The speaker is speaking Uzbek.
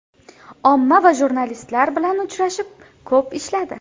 Omma va jurnalistlar bilan uchrashib, ko‘p ishladi.